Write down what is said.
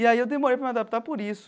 E aí eu demorei para me adaptar por isso.